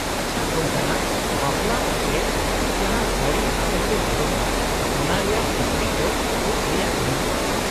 -ᱟᱪᱪᱷᱟ ᱠᱚᱝᱠᱚᱱᱟ, ᱵᱟᱯᱞᱟ ᱚᱠᱛᱮ ᱡᱟᱦᱟᱸ ᱥᱟᱹᱲᱤ ᱟᱯᱮ ᱯᱮ ᱦᱚᱨᱚᱜᱟ, ᱚᱱᱟ ᱨᱮᱭᱟᱜ ᱠᱤᱪᱨᱤᱡ ᱫᱚ ᱪᱮᱫ ᱨᱮᱭᱟᱜ ᱦᱩᱭᱩᱜᱼᱟ ᱾